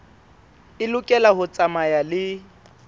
e lokela ho tsamaya le